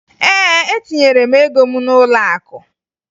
Ee, etinyere m ego m n'ụlọakụ